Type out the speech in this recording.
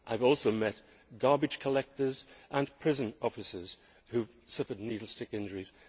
I have also met garbage collectors and prison officers who have suffered needle stick injuries.